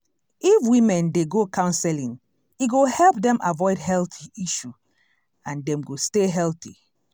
if women dey go counseling e go help dem avoid heath issue and dem go stay healthy.